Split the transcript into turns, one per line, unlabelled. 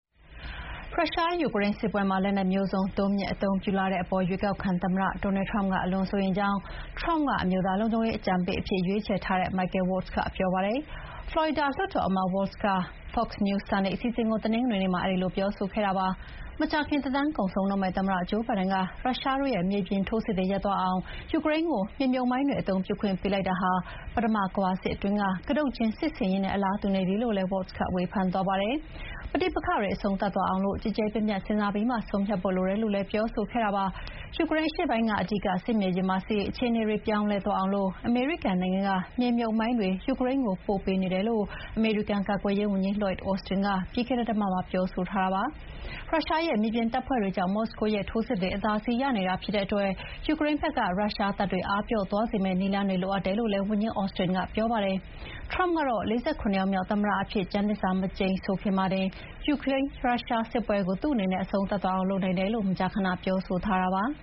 ရုရှား ယူကရိန်းစစ်ပွဲမှာ လက်နက်မျိုးစုံ တိုးမြင့်အသုံးပြုလာတဲ့အပေါ် ရွေးကောက်ခံသမ္မတ Donald Trump ကအလွန်စိုးရိမ်ကြောင်း Trump က အမျိုးသားလုံခြုံရေးအကြံပေးအဖြစ်ရွေးချယ်ထားတဲ့ Michael Waltz က ပြောပါတယ်။ ဖလော်ရီဒါလွှတ်တော်အမတ် Waltz က “ Fox News Sunday” အစီအစဥ်ကို တနင်္ဂနွေနေ့မှာ အဲဒီလိုပြောဆိုခဲ့တာပါ။ မကြာခင်သက်တမ်းကုန်ဆုံးတော့မယ့် သမ္မတဂျိုးဘိုင်ဒန်က ရုရှားတို့ရဲ့ မြေပြင်ထိုးစစ်တွေရပ်သွားအောင် ယူကရိန်းကို မြေမြှပ်မိုင်းတွေအသုံးပြုခွင့်ပေးလိုက်တာဟာ ပထမကမ္ဘာစစ်တွင်းက ကတုတ်ကျင်းစစ်ဆင်ရေးနဲ့ အလားတူနေပြီလို့လည်း Waltz က ဝေဖန်သွားပါတယ်။ ပဋိပက္ခတွေအဆုံးသတ်သွားအောင် ကျယ်ကျယ်ပြန့်ပြန့် စဥ်စားပြီးမှ ဆုံးဖြတ်ဖို့လိုတယ်လို့လည်းပြောဆိုခဲ့တာပါ။ ယူကရိန်းအရှေ့ပိုင်းက အဓိက စစ်မြေပြင်မှာ စစ်ရေးအခြေအနေတွေပြောင်းလဲ သွားအောင် အမေရိကန်နိုင်ငံက မြေမြှပ်မိုင်းတွေ ယူကရိန်းကို ပို့ပေးနေတယ်လို့ အမေရိကန်ကာကွယ်ရေးဝန်ကြီး Lloyd Austin က ပြီးခဲ့တဲ့တပတ်မှာပြောဆိုခဲ့ပါတယ်။ ရုရှားရဲ့ မြေပြင်တပ်ဖွဲ့တွေကြောင့် မော်စကိုရဲ့ ထိုးစစ်တွေအသာစီးရနေတာဖြစ်တဲ့အတွက် ယူကရိန်းဖက်က ရုရှားတပ်တွေအားပျော့သွားစေမယ့် နည်းလမ်းတွေလိုအပ်တယ်လို့လည်း ဝန်ကြီး Austin ကပြောပါတယ်။ Trump ကတော့ ၄၇ ယောက်မြောက်သမ္မတအဖြစ် ကျမ်းသစ္စာမကျိန်ဆိုခင်မှာ ရုရှားယူကရိန်းစစ်ပွဲကို သူ့အနေနဲ့ အဆုံးသတ်သွားအောင် လုပ်နိုင်တယ်လို့ မကြာခဏပြောဆိုထားတာပါ။